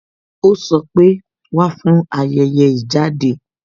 Ó sọ pé "Wá fún ayẹyẹ ìjáde